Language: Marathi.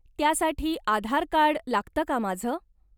त्यासाठी आधार कार्ड लागतं का माझं?